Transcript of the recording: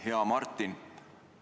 Hea Martin!